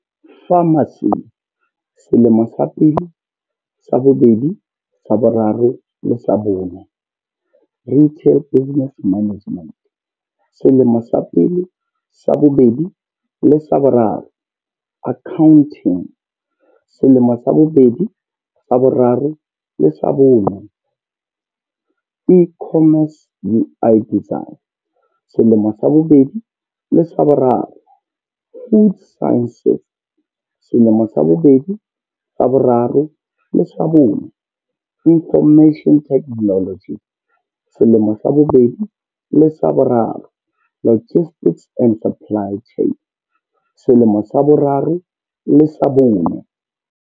Pharmacy selemo sa pele, sa bobedi, sa bo raro le sa bone. Retail business management, selemo sa pele, sa bobedi le sa boraro. Accounting selemo sa bobedi, sa boraro le sa bone. E-commerce UI design selemo sa bobedi le sa boraro. Food sciences selemo sa bobedi, sa boraro le sa bone. Information technology selemo sa bobedi le sa boraro. Logistics and supply chain selemo sa boraro le sa bone.